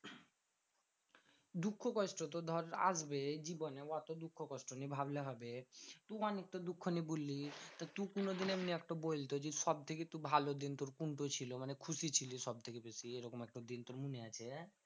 দুঃখ কষ্ট তো ধর আসবেই জীবনে। অত দুঃখ কষ্ট নিয়ে ভাবলে হবে? তুই অনেক তো দুঃখ নিয়ে বললি। তা তু কোনোদিন এমনি একটা বলতো যে সবথেকে তোর ভালো দিনটো কোনটো ছিল? মানে খুশি ছিলিস সবথেকে বেশি? এরকম একটাও দিন তোর মনে আছে?